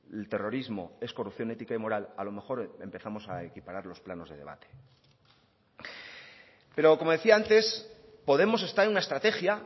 el terrorismo es corrupción ética y moral a lo mejor empezamos a equiparar los planos de debate pero como decía antes podemos está en una estrategia